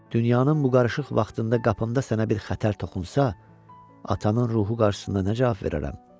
Dünyanın bu qarışıq vaxtında qapımda sənə bir xətər toxunsa, atanın ruhu qarşısında necə cavab verərəm?